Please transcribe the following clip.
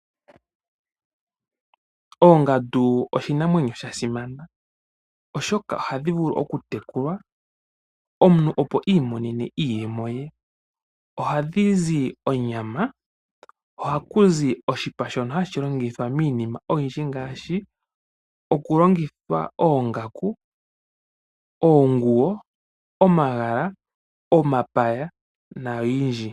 Oongandu oshinamwenyo shasimana oshoka ohadhi vulu okutekulwa omuntu opo iimonenemo iiyemo ye. Ohadhizi onyama, ohakuzi oshipa shono hashi longithwa miinima oyidji ngaashi, okulongithwa oongaku, oonguwo, omapaya na yidji.